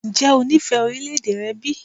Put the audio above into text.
Ǹjẹ́ o nífẹ̀ẹ́ orílẹ̀-èdè rẹ bí?